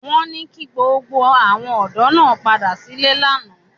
Wọ́n ní kí gbogbo àwọn ọ̀dọ́ náà padà sílé lánàá